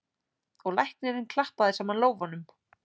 Og læknirinn klappaði saman lófunum.